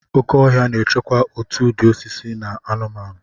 Oke ọhịa na-echekwa òtù ụdị osisi na anụmanụ.